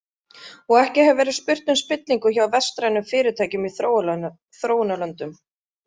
Og ekki hefur verið spurt um spillingu hjá vestrænum fyrirtækjum í þróunarlöndum.